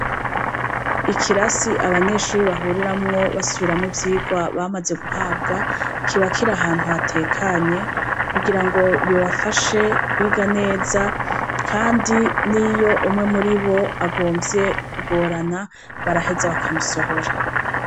Ikirasi abanyeshure bahuriramwo basubiramwo ivyigwa bamaze guhabwa, kiba kiri ahantu hatekanye, kugira ngo bibafashe kwiga neza. kandi n'iyo umwe muribo agomvye kugorana, baraheza bakamusohora.